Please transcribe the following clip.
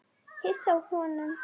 Hissa á honum.